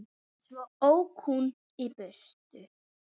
Svo ók hún í burtu.